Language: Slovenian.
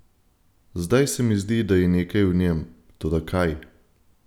Zdaj se mi zdi, da je nekaj v njem, toda kaj?